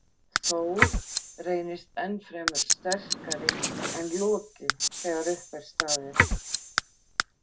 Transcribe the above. Þór reynist enn fremur sterkari en Loki þegar upp er staðið.